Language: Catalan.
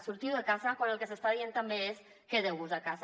sortiu de casa quan el que s’està dient també és quedeu vos a casa